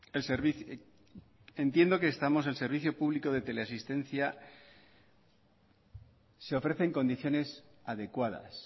en servicio público de teleasistencia se ofrecen condiciones adecuadas